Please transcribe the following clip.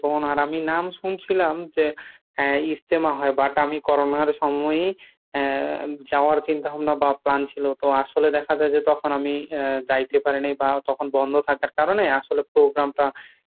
মনে হয় না আমি নাম শুনছিলাম যে আহ ইজতেমা হয় but আমি করোনার সময়েই আহ যাওয়ার চিন্তা ভাবনা বা plan ছিল, তো আসলে দেখা যায় যে তখন আমি আহ যাইতে পারি নাই বা তখন বন্ধ থাকার কারণে আসলে program টা